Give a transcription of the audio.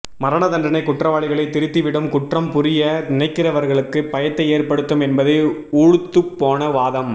மரண தண்டனை குற்றவாளிகளை திருத்தி விடும் குற்றம் புரிய நினைக்கிறவர்களுக்கு பயத்தை ஏற்படுத்தும் என்பது ஊளுத்துபோன வாதம்